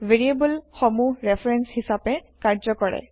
variable সমূহ reference হিচাপে কাৰ্য্য কৰে